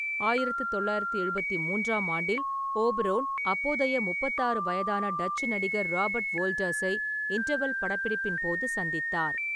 ஆயிரத்து தொள்ளாயிரத்து எழுபத்து மூன்றாம் ஆண்டில், ஓபரோன் அப்போதைய முப்பத்தாறு வயதான டச்சு நடிகர் ராபர்ட் வோல்டர்ஸை இன்டர்வெல் படப்பிடிப்பின் போது சந்தித்தார்.